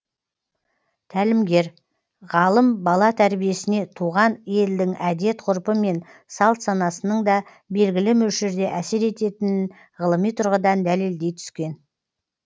тәлімгер ғалым бала тәрбиесіне туған елдің әдет ғұрпы мен салт санасының да белгілі мөлшерде әсер ететінін ғылыми тұрғыдан дәлелдей түскен